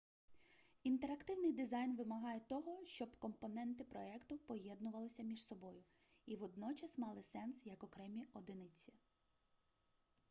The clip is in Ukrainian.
інтерактивний дизайн вимагає того щоб компоненти проекту поєднувалися між собою і водночас мали сенс як окремі одиниці